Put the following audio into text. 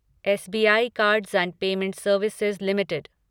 SBI cards and payments services limited